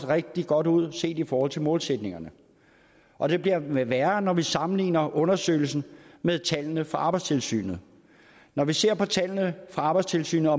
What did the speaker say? rigtig godt ud set i forhold til målsætningerne og det bliver værre når vi sammenligner undersøgelsen med tallene fra arbejdstilsynet når vi ser på tallene fra arbejdstilsynet